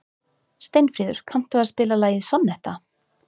Steinfríður, kanntu að spila lagið „Sonnetta“?